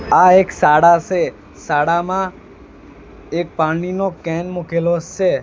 આ એક શાળા સે શાળામાં એક પાણીનો કેન મુકેલો સે.